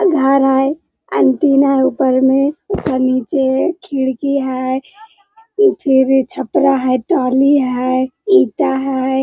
घर है एंटेना है ऊपर में और नीचे खिड़की है इ फिर छपरा है ट्राली है ईटा है।